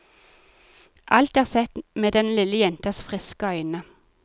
Alt er sett med den lille jentas friske øyne.